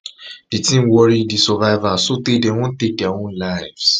di tin worry di survivors sotay dem wan take dia own lives